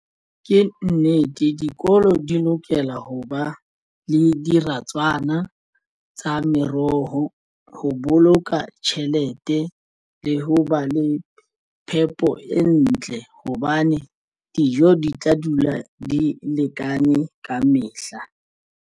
Ke nnete dikolo di lokela ho ba le diratswana tsa meroho ho boloka tjhelete le ho ba le phepo e ntle hobane dijo di tla dula di lekane ka mehla.